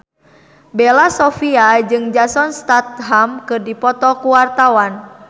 Bella Shofie jeung Jason Statham keur dipoto ku wartawan